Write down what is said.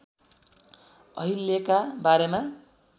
अहिल्याका बारेमा